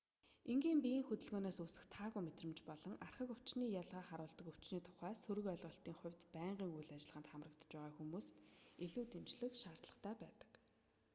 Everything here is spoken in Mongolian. энгийн биеийн хөдөлгөөнөөс үүсэх таагүй мэдрэмж болон архаг өвчний ялгааг харуулдаг өвчний тухай сөрөг ойлголтын хувьд байнгын үйл ажиллагаанд хамрагдаж байгаа хүмүүст илүү дэмжлэг шаардлагатай байдаг